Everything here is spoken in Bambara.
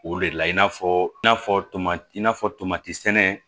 O de la i n'a fɔ i n'a fɔ tomati i n'a fɔ tomati sɛnɛ